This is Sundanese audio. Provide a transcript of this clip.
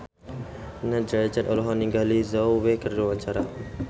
Mat Drajat olohok ningali Zhao Wei keur diwawancara